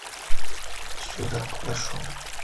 сюда подошел